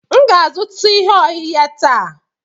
M ga-azụta ihe ohehe taa.